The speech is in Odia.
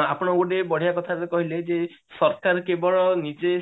ଆପଣ ଗୋଟେ ବଢିୟା କଥା କହିଲେ ଯେ ସରକାର କେବେଳେ ନିଜେ